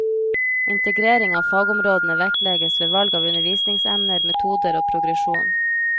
Integrering av fagområdene vektlegges ved valg av undervisningsemner, metoder og progresjon.